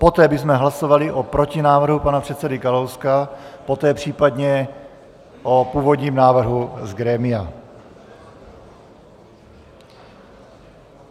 Poté bychom hlasovali o protinávrhu pana předsedy Kalouska, poté případně o původním návrhu z grémia.